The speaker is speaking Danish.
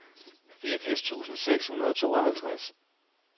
fireogfirs tusind seks hundrede og tooghalvtreds